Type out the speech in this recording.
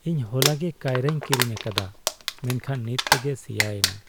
ᱤᱧ ᱦᱚᱞᱟᱜᱮ ᱠᱟᱭᱨᱟᱧ ᱠᱤᱨᱤᱧ ᱟᱠᱟᱫᱟ ᱢᱮᱱᱠᱷᱟᱱ ᱱᱤᱛ ᱛᱮᱜᱮ ᱥᱮᱭᱟᱭᱮᱱᱟ ᱾